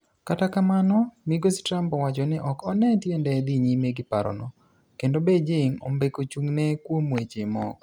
Kata kamano migosi Trump owacho ni ok one tiende dhi nyime gi parono, kendo Beijing ombeko chung'ne kuom weche moko.